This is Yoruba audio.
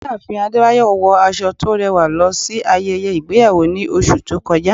ìyáàfín adébáyọ wọ aso to rẹwa losí ayéyé igbeyawo ní oṣù to kọjá